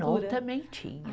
também tinha.